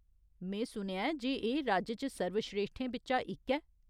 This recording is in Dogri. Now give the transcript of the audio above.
में सुनेआ ऐ जे एह्‌‌ राज्य च सर्वस्रेश्ठें बिच्चा इक ऐ ?